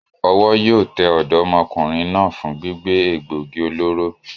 Owó yío te òdómokùnrin náà fun gbígbé égbogi olóró